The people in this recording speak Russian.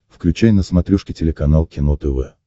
включай на смотрешке телеканал кино тв